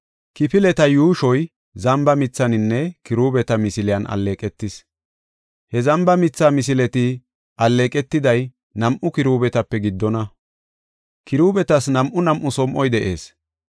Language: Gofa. Kifileta yuushon, zamba mithaninne kiruubeta misiley alleeqetis. He zamba mitha misileti alleeqetiday nam7u kiruubetape giddona. Kiruubetas nam7u nam7u som7oy de7ees.